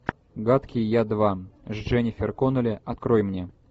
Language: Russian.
гадкий я два с дженнифер коннелли открой мне